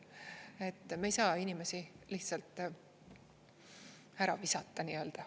Et me ei saa inimesi lihtsalt ära visata nii-öelda.